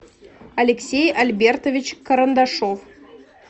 алексей альбертович карандашов